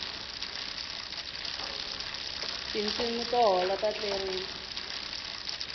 tinsimu to hola ta tlerisa